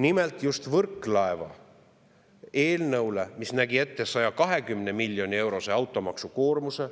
Nimelt, just Võrklaeva eelnõu kohta, mis nägi ette 120 miljoni eurose automaksukoormuse,